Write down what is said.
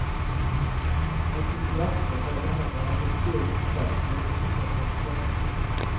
Entusiasme mener hun er en viktig egenskap for å lykkes som forsker.